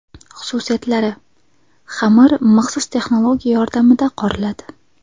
Xususiyatlari: Xamir maxsus texnologiya yordamida qoriladi.